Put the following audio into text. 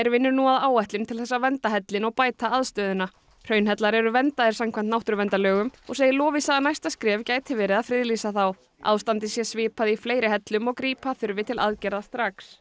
vinnur nú að áætlun til þess að vernda hellinn og bæta aðstöðuna hraunhellar eru verndaðir samkvæmt náttúruverndarlögum og segir Lovísa að næsta skref gæti verið að friðlýsa þá ástandið sé svipað í fleiri hellum og grípa þurfi til aðgerða strax